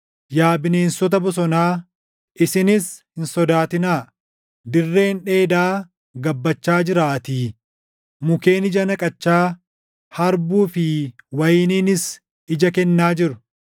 Yaa bineensota bosonaa, isinis hin sodaatinaa; dirreen dheedaa gabbachaa jiraatii. Mukkeen ija naqachaa, harbuu fi wayiniinis ija kennaa jiru.